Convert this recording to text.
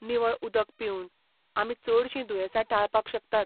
निवळ उदक पिवन, आमी चडशीं दुयेसां टाळपाक शकतात.